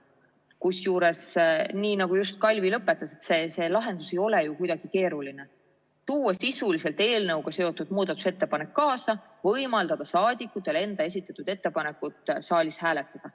Kusjuures, nii nagu Kalvi just lõpetas, see lahendus ei ole ju kuidagi keeruline: tuua sisuliselt eelnõuga seotud muudatusettepanek kaasa ja võimaldada saadikutel enda esitatud ettepanekut saalis hääletada.